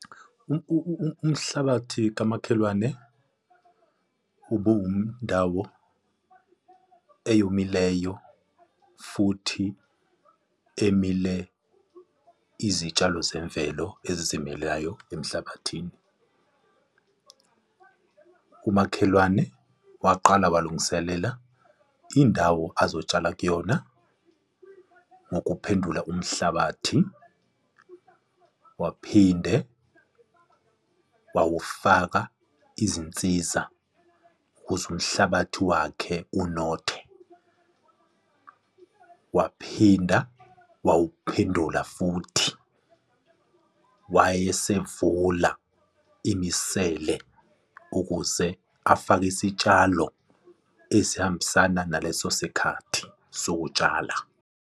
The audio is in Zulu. Umhlabathi kamakhelwane ubewumndawo eyomileyo futhi emile izitshalo zemvelo ezizimeleyo emhlabathini. Umakhelwane waqala walungiselela indawo azotshala kuyona ngokuphendula umhlabathi, waphinde wawufaka izinsiza ukuze umhlabathi wakhe unothe, waphinda wawuphendula futhi wayesevula imisele ukuze afake isitshalo esihambisana naleso sikhathi sokutshala.